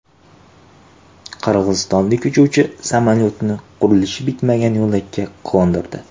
Qirg‘izistonlik uchuvchi samolyotni qurilishi bitmagan yo‘lakka qo‘ndirdi.